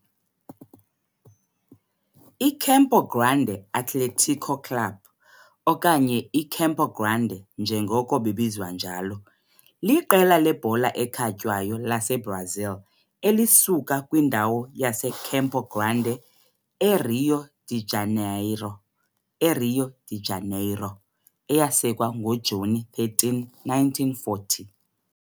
I-Campo Grande Atlético Clube, okanye iCampo Grande njengoko bebizwa njalo, liqela lebhola ekhatywayo laseBrazil elisuka kwindawo yaseCampo Grande, eRio de Janeiro eRio de Janeiro, eyasekwa ngoJuni 13, 1940.